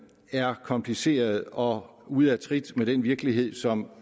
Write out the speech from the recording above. er kompliceret og ude af trit med den virkelighed som